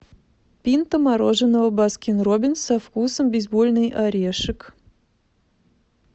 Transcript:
пинта мороженого баскин роббинс со вкусом бейсбольный орешек